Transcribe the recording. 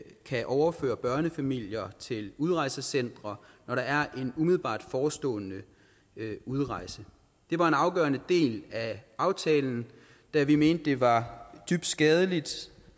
kan overføre børnefamilier til udrejsecentre når der er en umiddelbart forestående udrejse det var en afgørende del af aftalen da vi mente at det var dybt skadeligt